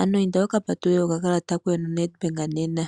ano inda wuka patulule okakalata koye noNedBank nena.